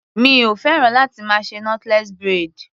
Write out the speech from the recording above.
Mi o féràn láti máa ṣe knotless braid.